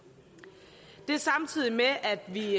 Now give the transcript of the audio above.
det er samtidig med at vi